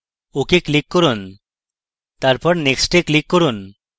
ok click করুন এবং তারপর next click করুন